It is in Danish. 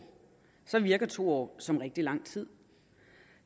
virker to år som rigtig lang tid